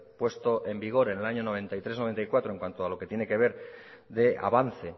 puesto en vigor en el año noventa y tres barra noventa y cuatro en cuanto a lo que tiene que ver de avance